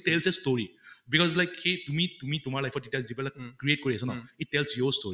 tells a story right because like সেই তুমি তুমি তোমাৰ life অত যেতিয়া যিবিলাক create কৰি আছা ন, um it tells your story